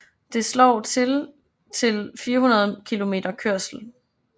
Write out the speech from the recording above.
Det slår til til 400 km kørsel